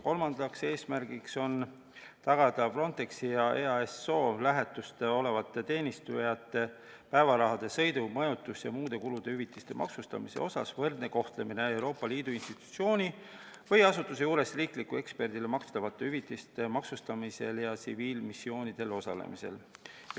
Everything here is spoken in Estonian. Kolmas eesmärk on tagada Frontexi ja EASO lähetustes osalevate teenistujate päevaraha, sõidu-, majutus- ja muude kulude hüvitiste maksustamise mõttes võrdne kohtlemine Euroopa Liidu institutsiooni või asutuse juures riiklikule eksperdile makstavate hüvitiste maksustamisel ja tsiviilmissioonidel osalemisel.